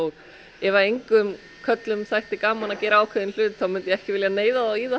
ef engum körlum þætti gaman að gera ákveðinn hlut myndi ég ekki vilja neyða þá í það